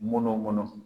Munun kɔnɔ